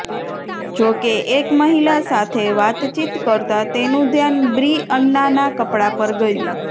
જોકે એક મહિલા સાથે વાતચીત કરતા તેનું ઘ્યાન બ્રિઅન્નાના કપડા પર ગયું